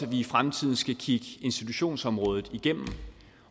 vi i fremtiden skal kigge institutionsområdet igennem